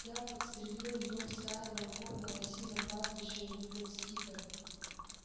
я подстрелил её в стае волков на лосином пастбище у литл стика